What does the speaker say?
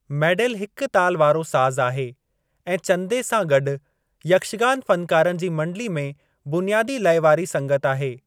मैडेल हिकु ताल वारो साज़ आहे ऐं चंदे सां गॾु, यक्षगान फ़नकारनि जी मंडली में बुनियादी लइ वारी संगत आहे।